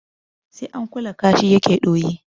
Sai an kula kashi ya ke ɗoyi.